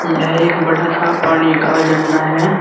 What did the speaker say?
यह एक बड़ा सा पानी का झरना है।